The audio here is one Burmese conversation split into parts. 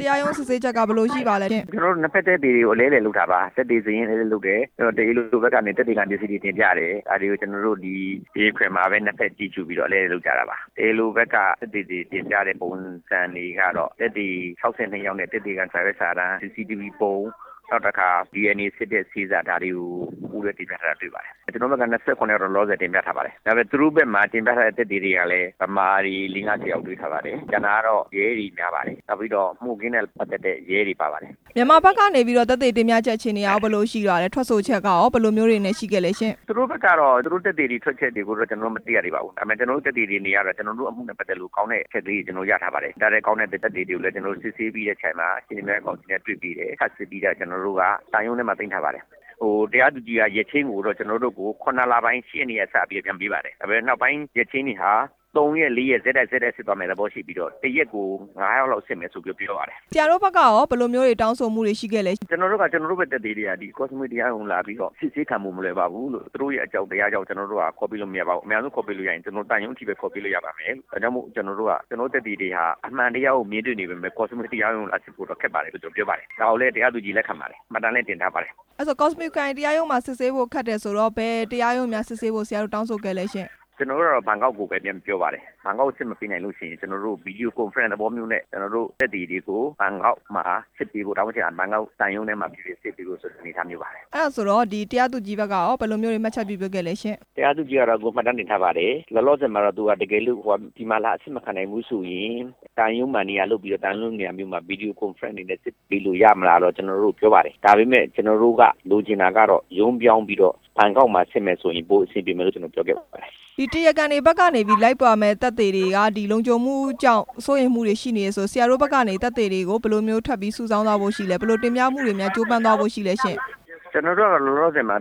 တရားရုံးစစ်ဆေးချက်က ဘယ်လိုရှိပါလဲရှင့်။ ကျနော်တို့ ၂ ဖက်သက်သေကို အလဲအလှယ်လုပ်တာပါ၊ သက်သေစာရင်းလုပ်တယ်၊ တရားလိုဖက်ကနေပြီး သက်သေခံပစ္စည်းတွေကို တင်ပြတယ်၊ အဲ့ဒါတွေကို ကျနော်တို့တရားခွင်မှာပဲ ၂ ဖက်ကြည့်ပြီး အလဲအလှယ် လုပ်ကြတာပါ၊ တရားလိုဘက်က သက်သေတွေတင်ပြတဲ့ ပုံစံတွေကတော့ သက်သေ ၆၂ ယောက်နဲ့၊ သက်သေခံစာရွက်စာတမ်း၊ CCTVပုံ၊ နောက်တစ်ခါ DNA စစ်တဲ့ဆေးစာ ဒါတွေကို တင်ပြထားပါတယ်၊ ကျနော်တို့ဘက်က ၂၇ ယောက်တော့လောလောဆယ် တင်ပြထားပါတယ်၊ ဒါပေမယ့် သူတို့ဘက်မှာ တင်ပြတဲ့သက်သေတွေကလဲ ဗမာတွေ ၄၊ ၅၊ ၁၀ ယောက်တွေ့ထားပါတယ်၊ ကျန်တာကတော့ ရဲတွေများပါတယ်၊ မှုခင်းနဲ့ ပတ်သက်တဲ့ ရဲတွေပါပါတယ်။ မြန်မာဘက်ကနေပြီးတော့ သက်သေတင်ပြချက် အခြေအနေ ကရော ဘယ်လိုရှိပါလဲ၊ ထွက်ဆိုချက်ကရော ဘယ်လိုမျိုးတွေရှိခဲ့လဲရှင့်။ သူတို့ဘက်ကတော့ သက်သေတွေထွက်ဆိုချက်ကို ကျနော်တို့ မသိရသေးပါဘူး၊ ဒါပေမယ့် ကျနော်တို့သက်သေတွေကတော့ ကျနော်တို့အမှုနဲ့ ပတ် သက်လို့ကောင်းတဲ့အချက်လေးတွေကို ကျနော်တို့ရထားပါတယ်၊ ဒါထက်ကောင်းတဲ့ သက်သေတွေကိုလဲ ကျနော်တို့ စစ်ဆေး ပြီးတဲ့ အချိန်မှာ ထပ်စစ်ပြီးတော့ ကျနော်တို့က သံရုံးထဲမှာ သိမ်းထားပါတယ်၊ တရားသူကြီးကကျနော်တို့ကို ရက်ချိန်းပေးတဲ့အချိန်မှာ ၇ လပိုင်း ၈ရက်နေ့မှာ စပြီးပြန်ပေးပါတယ်၊ ဒါပေမယ့် နောက်ပိုင်းရက်ချိန်းတွေဟာ ၃ ရက်၊ ၄ ရက် ဆက်တိုက်ဖြစ်သွားမယ့် သဘောရှိပြီးတော့ ၁ ရက်ကို ၅ ယောက် လောက်စစ်မယ် လို့ပြောပါတယ်။ ဆရာတို့ဖက်ကရော ဘယ်လိုမျိုးတောင်းဆိုမှုတွေရှိခဲ့လဲရှင့်။ ကျနော်တို့ဘက်က ကျနော်တို့ရဲ့သက်သေတွေက Koh Samui ခရိုင်တရားရုံးကို လာပြီးတော့ အစစ်ဆေးခံဖို့မလွယ်ပါဘူးလို့၊ သူတို့ရဲ့အကြောက်တရား ကြောင့် ကျနော်တို့က ခေါ်ပေးဖို့မလွယ်ပါဘူးလို့ အမြန်ဆုံးခေါ်ပေးလို့ရရင် သံရုံး အထိပဲ ခေါ်ပေးလို့ရပါတယ်လို့ ဒါကြောင့်ကျနော် တို့ရဲ့ သက်သေတွေက အမှန်တရားကိုမြင် တွေ့နေပေမယ့် Koh Samui တရားရုံးကို လာစစ်ဖို့အတွက်တော့ ခက်ပါတယ်လို့ ကျနော်ပြောပါတယ်၊ ဒါကိုလဲ တရားသူကြီးကလက်ခံပါတယ်၊ မှတ်တမ်းလဲ တင်ထားပါတယ်။ အဲ့ဒါဆို Koh Samui တရားရုံးကစစ်ဆေးဖို့ ခက်တယ်ဆိုတော့ ဆရာတို့အနေနဲ့ ဘယ်တရားရုံးမှာ စစ်ဆေးဖို့ တောင်းဆိုခဲ့ပါလဲရှင့်။ ကျနော်တို့ကတော့ ဘန်ကောက်ကိုပဲပြောပါတယ်၊ ဘန်ကောက် မှာ အဆင်မပြေလို့ရှိရင် ကျနော်တို့သက်သေတွေကို ဘန်ကောက်သံရုံးမှာ စစ်ပေးဖို့ ဆိုတဲ့ အနေအထားမျိုးပါ။ အဲ့ဒါဆိုတော့ တရားသူကြီးဘက်ကရော ဘယ်လိုမျိုးမှတ်ချက် တွေ ပေးခဲ့လဲရှင့်။ တရားသူကြီးကတော့ အကုန်မှတ်တမ်းတင်ထားပါတယ်၊ လောလောဆယ် ဒီမှာလာစစ်မခံနိုင်ဘူးဆိုရင် သံရုံးမှာနေရာလုပ်ပြီးတော့ စစ်ပေး လို့ရမလားလိုတော့ ကျနော်တို့ကိုပြောပါတယ်၊ ဒါပေမယ့် ကျနော်တို့လိုချင်တာကတော့ ဘန်ကောက်မှာ ရုံးပြောင်းပြီးစစ်ဆေးမယ်ဆိုရင် ပိုအဆင်ပြေမယ်လို့ ကျနော်တို့ပြော ခဲ့ပါတယ်။ တရားခံဖက်က သက်သေတွေက လုံခြုံမှုကြောင့် စိုးရိမ်မှုတွေ ရှိနေတယ်ဆိုတော့ ဆရာတို့ဖက်ကနေသက်သေတွေကို ဘယ်လိုမျိုး စုဆောင်းသွားဖို့ရှိလဲရှင့်၊ ဘယ်လိုတင်ပြမှုတွေနဲ့ ကြိုးပမ်းသွားဖို့ရှိလဲရှင့်။ ကျနော်တို့ကတော့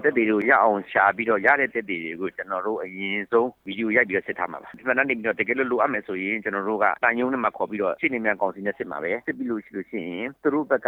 သက်သေတွေကို ရအောင်ရှာပြီးတော့ ရတဲ့သက်သေတွေကို အရင်ဆုံးဗီဒီယို ရိုက်ပြီးတော့စစ်ထားမှာပါ၊ မှတ်တမ်းတင် ပြီးတော့ တကယ်လို့လိုအပ်မယ်ဆိုရင် ကျနော်တို့က သံရုံးထဲမှာခေါ်ပြီးတော့ ရှေ့နေများကောင်စီနဲ့ စစ်ပါမယ်၊ စစ်ပြီးလို့ရှိရင် သူတို့ဖက်က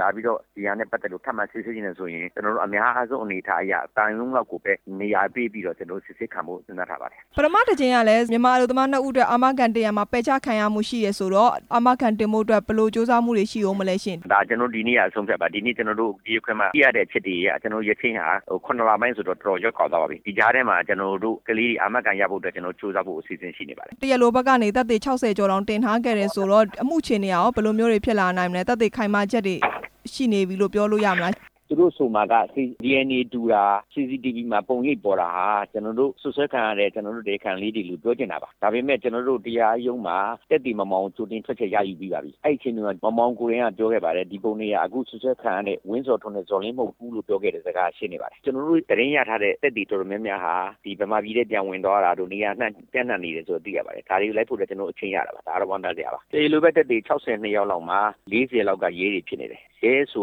လာပြီးတော့ ဒီဟာနဲ့ ပတ်သက်လို့ ထပ်မံစစ်ဆေးချင်တယ်ဆိုရင် ကျနော်တို့ အများဆုံးအနေအထားရ သံရုံးလောက်ကိုပဲ နေရာပေးပြီးတော့စစ်ဆေးခံဖို့ ကျနော်တို့ စဉ်းစား ထားပါတယ်။ ပထမတစ်ကြိမ်ကလဲ မြန်မာလုပ်သား၂ ဦးအတွက် အာမခံ တင်ရာမှာ ပယ်ချခံရမှုရှိတယ်ဆိုတော့ အာမခံတင်ဖို့အတွက် ဘယ်လိုကြိုးစားမှုတွေ ရှိမလဲရှင့် ဒါဒီနေ့က အဆုံးအဖြတ်ပါ၊ ဒီနေ့ကျနော်တို့ တရားခွင်မှာ သိရ တဲ့အချက်တွေအရ ကျနော်တို့ရက်ချိန်းဟာ ၇ လပိုင်းဆိုတော့ တော်တော်ကို ရက် ကွာသွားပါပြီ၊ ဒီကြားထဲမှာ ကျနော်တို့ ကလေးတွေအာမခံရဖို့ ကျနော်တို့ အစီအစဉ်ရှိပါတယ်။ တရားလိုဖက်ကနေသက်သေ ၆၀ ကျော်တောင် တင်ထား ခဲ့တယ်ဆိုတော့ အမှုအခြေအနေက ဘယ်လိုမျိုးတွေဖြစ်လာနိုင်မလဲ၊ သက်သေ ခိုင်မာချက်တွေရှိနေပြီလို့ ပြောလို့ရမလားရှင့်။ ဟိုမှာက DNA တူတာ၊ CCTV မှာ ပုံရိပ်ပေါ်တာတွေဟာ ကျနော် တို့စွပ်စွဲခံရတဲ့ ကျနော်တို့တရားခံလေးတွေလို့ပြောချင်တာပါ၊ ဒါပေမယ့် ကျနော်တို့ တရားရုံးမှာ သက်သေမောင်မောင်ကို ကြိုတင်ထွက်ချက်ရယူပြီးပါပြီ၊ အဲ့ချိန်မှာ မောင်မောင် ကိုယ်တိုင်ကပြောခဲ့ပါတယ်၊ အဲ့ပုံတွေက အခုစွပ်စွဲ ခံနေ ရတဲ့ ဝင်းဇော်ထွန်း နဲ့ ဇော်လင်းမဟုတ်ဘူးလို့ ပြောခဲ့တဲ့စကားရှိနေပါတယ်၊ ကျနော်တို့ သတင်းရထားတဲ့ သက်သေတော်တော် များများဟာ မြန်မာပြည် ထဲပြန် ဝင်သွားတာတို့၊ နေရာအနှံ့ပြန့်နှံ့ နေတယ်လို့ သိရပါတယ်၊ ဒါတွေကိုလိုက်ဖို့အတွက် ကျနော်တို့အချက်ရတာပါ၊ ဒါကတော့ ဝမ်းသာစရာပါ၊ တရားလိုဖက်က သက်သေ ၆၀ ကျော်မှာ ၄၀ ကျော်လောက်ကတော့ ရဲတွေဖြစ်နေတယ်၊ ရဲဆိ